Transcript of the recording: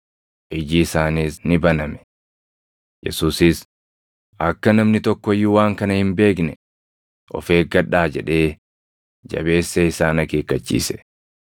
Iji isaaniis ni baname. Yesuusis, “Akka namni tokko iyyuu waan kana hin beekne of eeggadhaa” jedhee jabeessee isaan akeekkachiise.